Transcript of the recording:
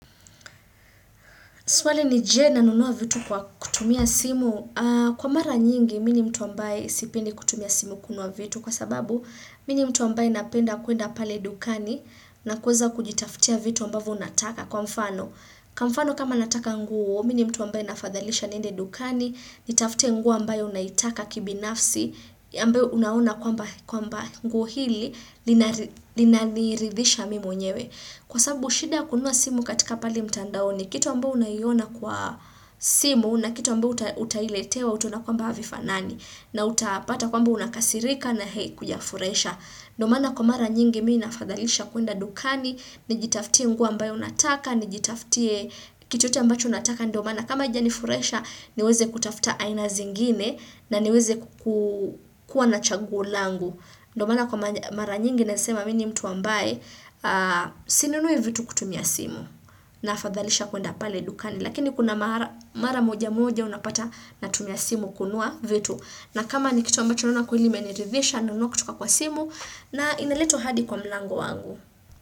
Swali ni je na nunua vitu kwa kutumia simu, kwa mara nyingi mini mtu ambaye sipendi kutumia simu kunua vitu kwa sababu mimi ni mtu ambaye napenda kuenda pale dukani na kuweza kujitaftia vitu ambavyo unataka kwa mfano. Kwa mfano kama nataka nguo, mini mtu ambaye nafadhalisha niende dukani, nitafute nguo ambayo naitaka kibinafsi, ambayo unaona kwamba nguo hili linaniridhisha mimi mwenyewe. Kwa sababu shida kunua simu katika pale mtandaoni, kitu ambyo unaiyona kwa simu na kitu ambyo utailetewa utaona kwamba havifanani na utapata kwamba unakasirika na heikuja furahisha. Ndo maana kwa mara nyingi mimi na fadhalisha kuenda dukani, nijitaftie nguo ambayo nataka, nijitaftie kitu ambacho nataka. Ndo manaa kama haija nifurahisha niweze kutafta aina zingine na niweze kukua na chaguo langu. Ndo maana kwa mara nyingi na nesema mimi ni mtu ambaye sinunui vitu kutumia simu na afadhalisha kuenda pale lukani. Lakini kuna mara moja moja unapata na tumia simu kununua vitu. Na kama ni kitu ambacho naona kweli imenirithisha, na nunua kutoka kwa simu na inaletwa hadi kwa mlango wangu.